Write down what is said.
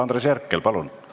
Andres Herkel, palun!